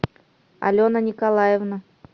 алена николаевна